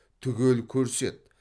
түгел көрсет